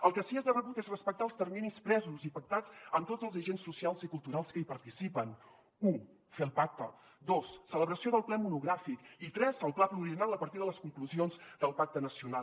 el que sí que és de rebut és respectar els terminis presos i pactats amb tots els agents socials i culturals que hi participen u fer el pacte dos celebració del ple monogràfic i tres el pla pluriennal a partir de les conclusions del pacte nacional